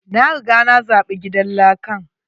Na riga na zaɓi gidan lakan.